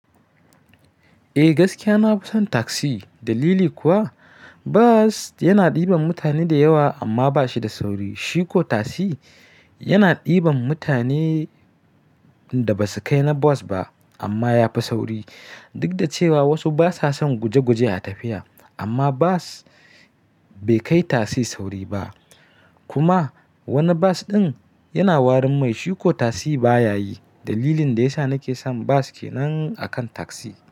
Eh gaskiya nafi son taxi. Dalili kuwa bus yana ɗiban mutane da yawa amma bashi da sauri. Shi ko taxi yana ɗiban mutane inda basu kai na bas ba amma yafi sauri. Duk da cewa wasu basa son gujeguje a tafiya amma bas bai kai tasi sauri ba. Kuma wani bas ɗin yana warin mai shi ko tasi baya yi. Dalilin da yasa nake son bus kenan akan taxi.